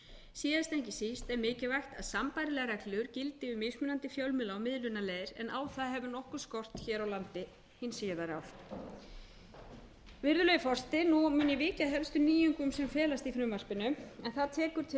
síðast en ekki síst er mikilvægt að sambærilegar reglur gildi um mismunandi fjölmiðla og miðlunarleiðir en á það hefur nokkuð skort hér á landi hin síðari ár virðulegi forseti nú mun ég víkja að helstu nýjungum sem felast í frumvarpinu en það tekur til